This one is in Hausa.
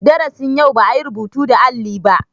Darasin yau ba yi rubutu da alli ba.